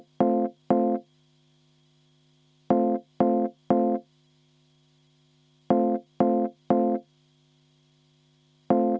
No ikka teeme hääletuse!